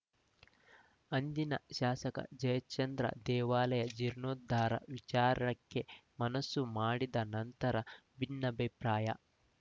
ಅಂದಿನ ಶಾಸಕ ಜಯಚಂದ್ರ ದೇವಾಲಯದ ಜೀರ್ಣೋದ್ಧಾರ ವಿಚಾರಕ್ಕೆ ಮನಸ್ಸು ಮಾಡಿದ ನಂತರ ಭಿನ್ನಾಭಿಪ್ರಾಯ